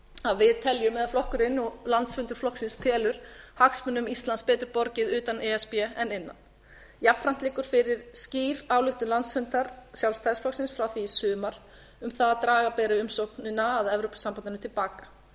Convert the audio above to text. að við teljum eða flokkurinn og landsfundur flokksins telur hagsmunum íslands betur borgið utan e s b en innan jafnframt liggur fyrir skýr ályktun landsfundar sjálfstæðisflokksins frá því í sumar að draga beri umsóknina að evrópusambandinu til baka